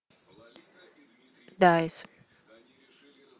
дайс